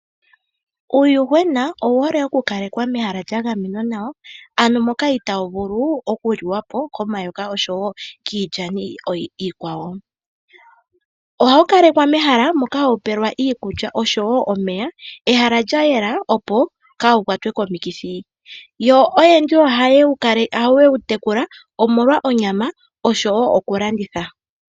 Uuyuhwena owu hole oku kalekwa mehala lya gamenwa nawa ano moka ita wu vulu oku liwa po komayoka osho wo kiilyani iikwawo. Oha wu kalekwa mehala moka ha wu pelwa iikulya osho wo omeya, ehala lya yela opo ka wu kwatwe komikithi. Oyendji oha ye wu tekula omolwa onyama osho wo okulanditha.